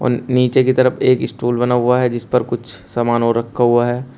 नीचे की तरफ एक स्टूल बना हुआ है जिस पर कुछ सामान और रखा हुआ है।